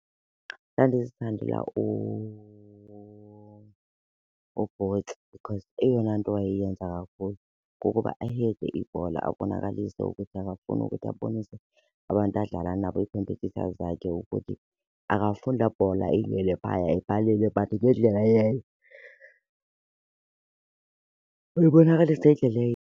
Ndandizithandela uBooth because eyona nto awayeyenza kakhulu kukuba ayiyeke ibhola abonakalise ukuthi akafuni ukuthi abonise abantu adlala nabo ii-competitors zakhe ukuthi akafuni laa bhola ingene phaya epalini but ngendlela , uyibonakalisa ngendlela .